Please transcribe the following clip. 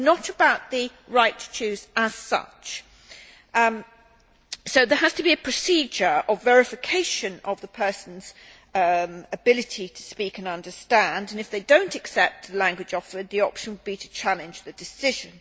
It is not about the right to choose as such, so there has to be a procedure of verification of the person's ability to speak and understand and, if they do not accept the language offered, the option would be to challenge the decision.